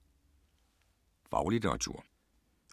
Faglitteratur